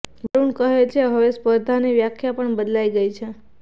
વરુણ કહે છે હવે સ્પર્ધાની વ્યાખ્યા પણ બદલાઈ ગઈ છે